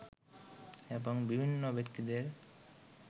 এবং বিভিন্ন ব্যক্তিদের